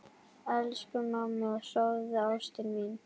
Elsku mamma, sofðu, ástin mín.